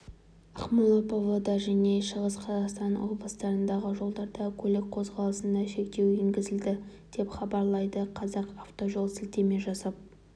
ақмола павлодар және шығыс қазақстан облыстарындағы жолдарда көлік қозғалысына шектеу енгізілді деп хабарлайды казақавтожол сілтеме жасап